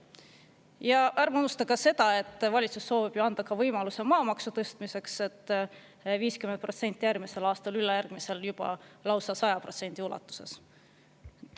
Ja ärme unustame ka seda, et valitsus soovib anda ka võimaluse maamaksu tõstmiseks: 50% järgmisel aastal, ülejärgmisel juba lausa 100% ulatuses.